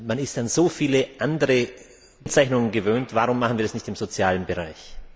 Man ist an so viele andere Kennzeichnungen gewöhnt, warum machen wir das nicht auch im sozialen Bereich?